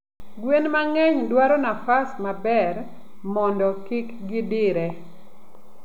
gwen mangeny dwaro nafas maber mondo kikgidire